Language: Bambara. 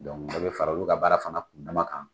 Dɔnku dɔ bɛ fara olu ka baara fana kun dama kan.